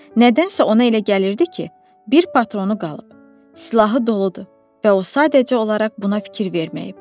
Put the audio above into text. Nədənsə ona elə gəlirdi ki, bir patronu qalıb, silahı doludur və o sadəcə olaraq buna fikir verməyib.